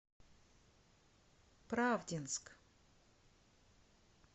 правдинск